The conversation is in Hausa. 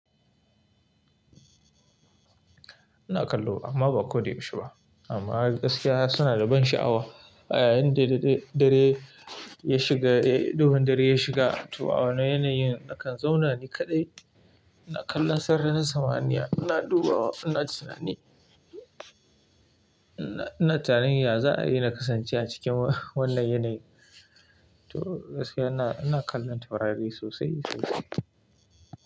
Ina kallo amma ba ko da yaushe ba. Amma gaskiya suna da ban sha'awa. A yayin da dare ya shiga, duhun dare ya shiga to a wannan yanayin nakan zauna ni kaɗai, ina kallon sararin samaniya, ina dubawa, ina tunani, ina tunanin ya za a yi na kasance a cikin wannan yanayi. To gaskiya ina, ina kallon taurari sosai sosai.